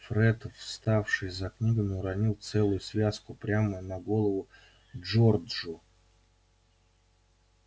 фред вставший за книгами уронил целую связку прямо на голову джорджу